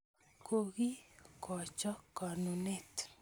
Koki kocho konunet